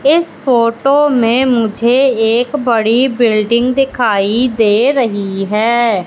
इस फोटो में मुझे एक बडी बिल्डिंग दिखाई दे रही है।